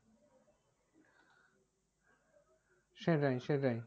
সেটাই সেটাই